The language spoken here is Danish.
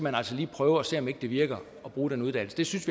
altså lige prøve og se om ikke det virker at bruge den uddannelse det synes